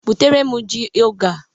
Butere m ji oge a!